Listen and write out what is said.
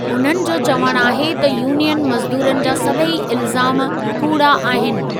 उन्हनि जो चवणु आहे त यूनियन मज़दूरनि जा सभेई इल्ज़ाम कूड़ा आहिनि।